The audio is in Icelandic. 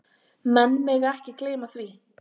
Menn mega ekki gleyma því.